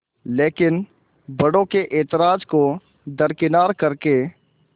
लेकिन बड़ों के ऐतराज़ को दरकिनार कर के